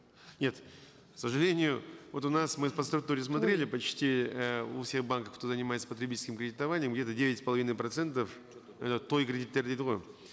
нет к сожалению вот у нас мы по структуре смотрели почти э у всех банков кто занимается потребительским кредитованием где то девять с половиной процентов это той кредиттері дейді ғой